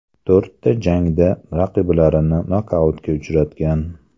To‘rtta jangda raqiblarini nokautga uchratgan.